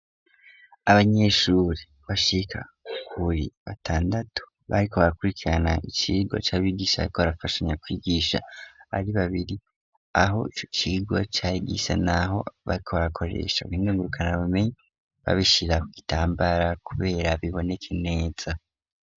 Abanyeshuri bashika kuri batandatu bariko barakurikirana icigwa c'abigishaikobarafasha nya kwigisha ari babiri aho ico cigwa cari gisa nKaho bariko barakoresha ubuhinga ngurukanabumenyi babishira ku gitambara kugira biboneke neza.